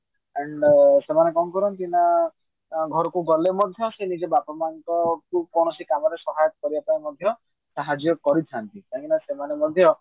and ସେମାନେ କଣ କରନ୍ତି ଘରକୁ ଗଲେ ମଧ୍ୟ ସେ ନିଜ ବାପା ମାଙ୍କ କୌଣସି କାମରେ ସହାୟକ କରିବା ପାଇଁ ମଧ୍ୟ ସାହାଯ୍ୟ କରିଥାନ୍ତି କାହିଁକି ନା ସେମାନେ ମଧ୍ୟ